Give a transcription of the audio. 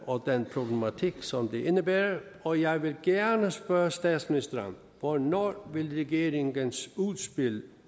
og den problematik som det indebærer og jeg vil gerne spørge statsministeren hvornår vil regeringens udspil